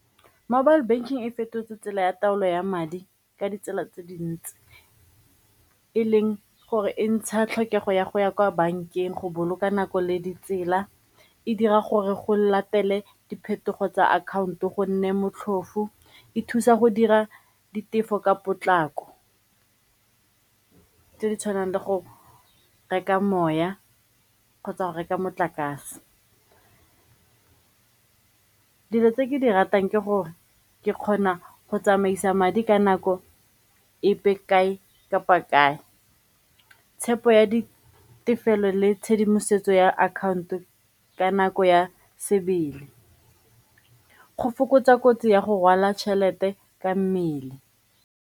Mobile banking e fetotse tsela ya taolo ya madi ka ditsela tse dintsi e leng gore e ntsha tlhokego ya go ya kwa bankeng go boloka nako le ditsela, e dira gore go latele diphetogo tsa akhaonto go nne motlhofo, e thusa go dira ditefo ka potlako tse di tshwanang le go reka moya kgotsa go reka motlakase. Dilo tse ke di ratang ke gore ke kgona go tsamaisa madi ka nako epe kae kapa kae. Tshepo ya ditefelelo le tshedimosetso ya akhaonto ka nako ya sebele go fokotsa kotsi ya go rwala tšhelete ka mmele.